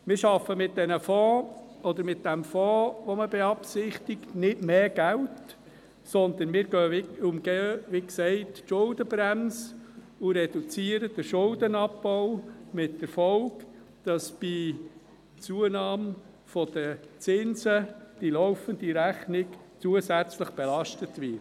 Wir schaffen mit dem beabsichtigten Fonds nicht mehr Geld, sondern wir umgehen wie gesagt die Schuldenbremse und reduzieren den Schuldenabbau mit der Folge, dass bei einer Zunahme der Zinsen die laufende Rechnung zusätzlich belastet wird.